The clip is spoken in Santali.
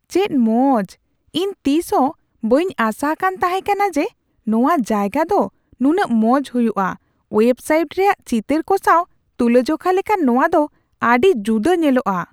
ᱪᱮᱫ ᱢᱚᱡ ! ᱤᱧ ᱛᱤᱥᱦᱚᱸ ᱵᱟᱹᱧ ᱟᱥᱟᱠᱟᱱ ᱛᱟᱦᱮᱠᱟᱱᱟ ᱡᱮ ᱱᱚᱣᱟ ᱡᱟᱭᱜᱟ ᱫᱚ ᱱᱩᱱᱟᱹᱜ ᱢᱚᱡ ᱦᱩᱭᱩᱜᱼᱟ ᱾ ᱳᱣᱮᱵ ᱥᱟᱭᱤᱴ ᱨᱮᱭᱟᱜ ᱪᱤᱛᱟᱹᱨ ᱠᱚ ᱥᱟᱣ ᱛᱩᱞᱟᱹᱡᱚᱠᱷᱟ ᱞᱮᱠᱷᱟᱱ ᱱᱚᱣᱟ ᱫᱚ ᱟᱹᱰᱤ ᱡᱩᱫᱟᱹ ᱧᱮᱞᱚᱜᱼᱟ ᱾